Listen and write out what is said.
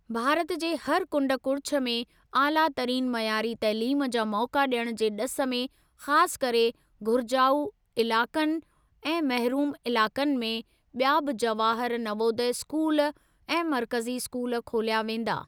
भारत जे हर कुंड कुड़िछ में आलातरीन मयारी तइलीम जा मौका ॾियण जे ॾिस में ख़ासि करे घुरिजाऊ इलाक़नि ऐं महरूम इलाक़नि में ॿिया बि जवाहर नवोदय स्कूल ऐं मर्कज़ी स्कूल खोलिया वेंदा।